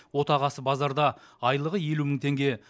отағасы базарда айлығы елу мың теңге